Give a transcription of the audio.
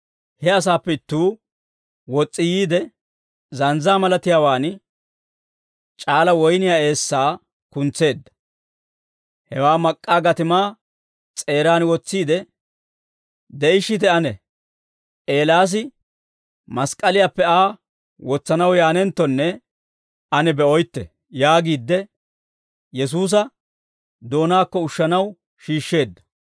He asaappe ittuu wos's'i yiide, zanzzaa malatiyaawaan c'aala woyniyaa eessaa kuntseedda; hewaa mak'k'aa gatimaa s'eeraan wotsiide, «De'ishshite ane; Eelaas mask'k'aliyaappe Aa wotsanaw yaanenttonne ane be'oytte» yaagiidde Yesuusa doonaakko ushshanaw shiishsheedda.